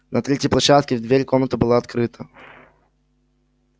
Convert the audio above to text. на третьей площадке дверь в комнату была открыта